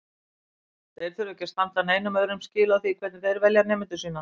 Þeir þurfa ekki að standa neinum öðrum skil á því hvernig þeir velja nemendur sína.